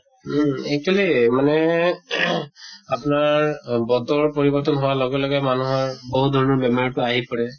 উম actually মানে ing আপনাৰ বতৰৰ পৰিৱৰ্তন হোৱাৰ লগে লগে মানুহৰ বহুত ধৰণৰ বেমাৰ তো আহি পৰে।